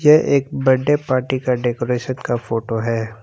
ये एक birthday party का डेकोरेशन का फोटो है।